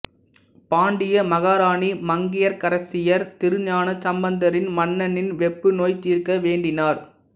பாண்டிய மகாராணி மங்கையற்கரசியார் திருஞான சம்மந்தரிடம் மன்னனின் வெப்புநோய் தீர்க்க வேண்டினார்